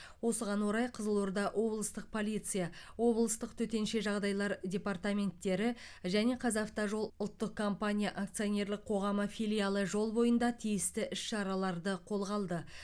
осыған орай қызылорда облыстық полиция облыстық төтенше жағдайлар департаменттері және қазавтожол ұлттық компания акционерлік қоғамы филиалы жол бойында тиісті іс шараларды қолға алды